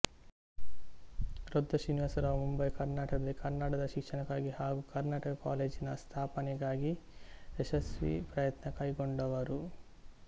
ರೊದ್ದ ಶ್ರೀನಿವಾಸರಾವ್ ಮುಂಬಯಿ ಕರ್ನಾಟಕದಲ್ಲಿ ಕನ್ನಡದ ಶಿಕ್ಷಣಕ್ಕಾಗಿ ಹಾಗು ಕರ್ನಾಟಕ ಕಾಲೇಜಿನ ಸ್ಥಾಪನೆಗಾಗಿ ಯಶಸ್ವಿ ಪ್ರಯತ್ನ ಕೈಗೊಂಡವರು